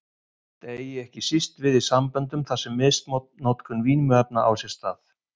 Þetta eigi ekki síst við í samböndum þar sem misnotkun vímuefna á sér stað.